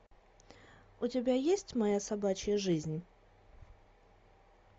у тебя есть моя собачья жизнь